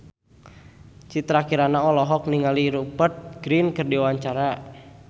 Citra Kirana olohok ningali Rupert Grin keur diwawancara